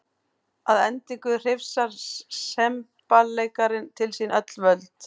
Að endingu hrifsar semballeikarinn til sín öll völd.